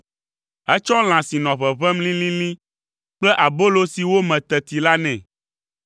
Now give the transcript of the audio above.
Etsɔ lã si nɔ ʋeʋẽm lĩlĩlĩ kple abolo si wome teti la nɛ.